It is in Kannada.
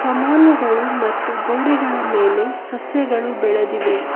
ಕಮಾನುಗಳು ಮತ್ತು ಗೋಡೆಗಡ ಮೇಲೆ ಸಸ್ಯಗಳು ಬೆಳೆದಿವೆ.